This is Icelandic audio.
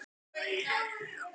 Þú hefur þó ekki.